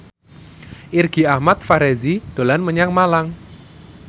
Irgi Ahmad Fahrezi dolan menyang Malang